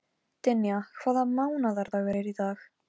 Ég býst við því, svaraði Lóa.